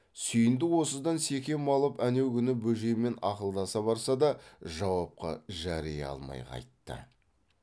сүйіндік осыдан секем алып әнеу күні бөжеймен ақылдаса барса да жауапқа жари алмай қайтты